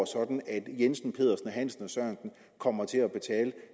sådan at jensen pedersen hansen og sørensen kommer til at betale